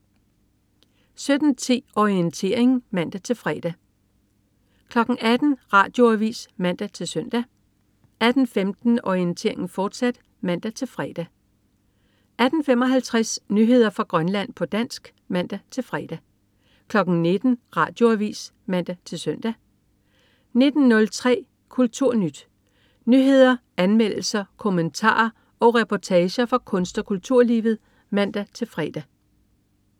17.10 Orientering (man-fre) 18.00 Radioavis (man-søn) 18.15 Orientering, fortsat (man-fre) 18.55 Nyheder fra Grønland, på dansk (man-fre) 19.00 Radioavis (man-søn) 19.03 KulturNyt. Nyheder, anmeldelser, kommentarer og reportager fra kunst- og kulturlivet (man-fre)